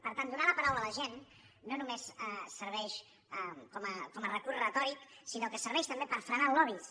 per tant donar la paraula a la gent no només serveix com a recurs retòric sinó que serveix també per frenar lobbys